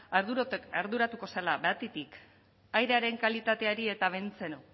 arduratuko zela batetik airearen kalitateari eta bentzeno